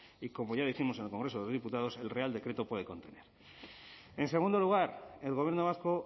y como ya lo hicimos en el congreso de los diputados el real decreto puede contener en segundo lugar el gobierno vasco